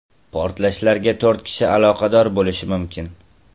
Portlashlarga to‘rt kishi aloqador bo‘lishi mumkin.